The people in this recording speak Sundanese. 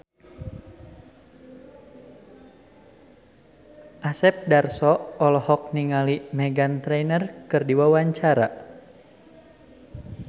Asep Darso olohok ningali Meghan Trainor keur diwawancara